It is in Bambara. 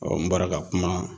n bɔra ka kuma